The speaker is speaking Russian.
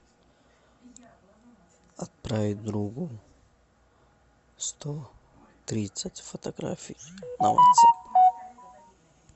отправить другу сто тридцать фотографий на ватсап